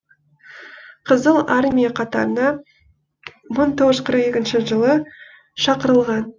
қызыл армия қатарына мың тоғыз жүз қырық екінші жылы шақырылған